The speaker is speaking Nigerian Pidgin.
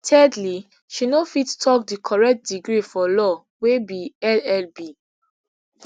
thirdly she no fit tok di correct degree for law wey be llb